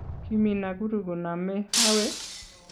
kiimi Nakuru koname awe?